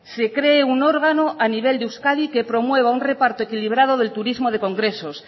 se cree un órgano a nivel de euskadi que promueva un reparto equilibrado del turismo de congresos